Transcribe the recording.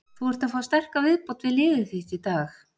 Þú ert að fá sterka viðbót við liðið þitt í dag?